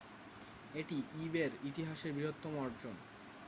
এটি ইবে'র ইতিহাসের বৃহত্তম অর্জন